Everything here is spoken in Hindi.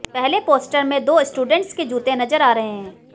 पहले पोस्टर में दो स्टूडेंट्स के जूते नजर आ रहे हैं